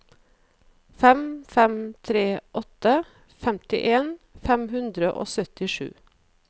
fem fem tre åtte femtien fem hundre og syttisju